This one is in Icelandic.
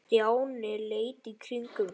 Stjáni leit í kringum sig.